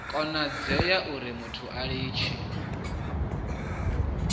konadzea urimuthu a litshe u